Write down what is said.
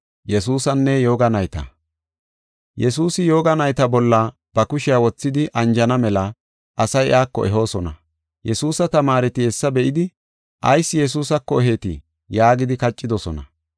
Yesuusi yooga nayta bolla ba kushiya wothidi anjana mela asay iyako ehoosona. Yesuusa tamaareti hessa be7idi “Ayis Yesuusako eheetii?” yaagidi kaccidosona.